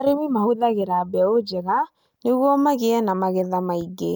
Arĩmi mahũthagĩra mbeũ njega nĩguo magĩe na magetha maingĩ.